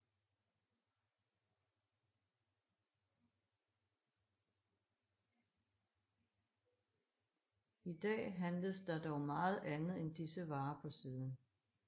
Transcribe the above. I dag handles der dog meget andet end disse varer på siden